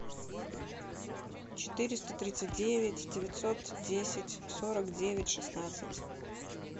четыреста тридцать девять девятьсот десять сорок девять шестнадцать